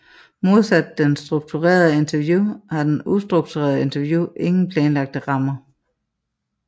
Modsat det strukturerede interview har det ustrukturerede interview ingen planlagt ramme